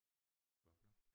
Hvad for noget?